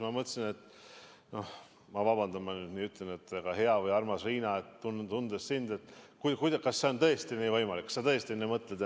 Ma mõtlesin – vabandust, et ma nii ütlen –, hea või armas Riina, tundes sind, kas see on tõesti võimalik, kas sa tõesti nii mõtled.